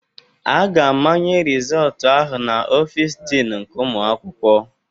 A ga-amanye rịzọltụ ahụ na Ọfịs Dịn nke ụmụ akwụkwọ.